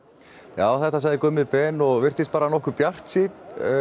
já þetta sagði Gummi Ben og virtist bara nokkuð bjartsýnn